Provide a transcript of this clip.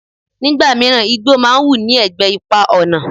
Nígbà míràn, igbó máa ń hù ní ẹ̀gbẹ́ ipa ọ̀nà.